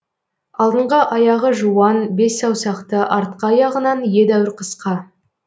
алдыңғы аяғы жуан бес саусақты артқы аяғынан едәуір қысқа